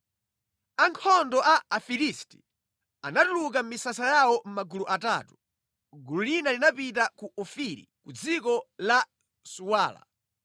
Ankhondo a Afilisti anatuluka mʼmisasa yawo mʼmagulu atatu. Gulu lina linapita ku Ofiri ku dziko la Suwala.